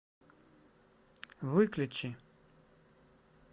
выключи